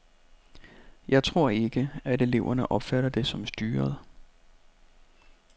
Jeg tror ikke, at eleverne opfatter det som styret.